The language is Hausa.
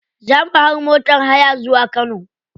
Za mu hau motar haya zuwa kano.